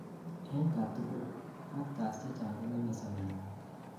en katugul: factors chechang kongemei sobetngung